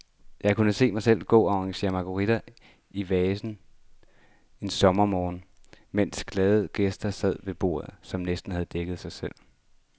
Jeg kunne se mig selv gå og arrangere marguritter i vaser en sommermorgen, mens glade gæster sad ved borde, som nærmest havde dækket sig selv.